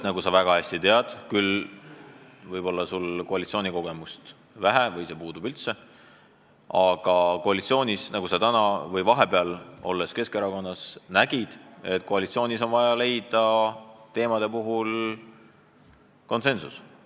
Sul on küll koalitsioonikogemust vähe või see puudub peaaegu üldse, aga vahepeal Keskerakonnas olles sa nägid, et koalitsioonis on vaja teemasid arutades konsensus leida.